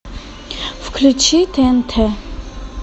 включи тнт